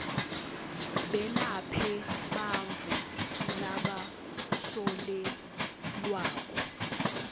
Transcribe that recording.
belaphe bantfu labasolelwako